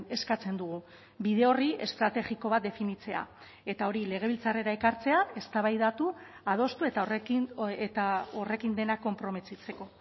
eskatzen dugu bide horri estrategiko bat definitzea eta hori legebiltzarrera ekartzea eztabaidatu adostu eta horrekin eta horrekin dena konprometitzeko